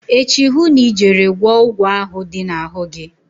Echi hụ na ị jere gwọọ ụgwọ ahụ dị na-ahụ gi.